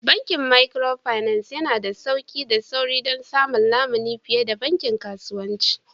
Bankin Micropinaci yana da sauƙi da sauri don samun lamuni fiye da bankin kasuwanci